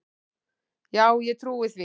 Já, ég trúi því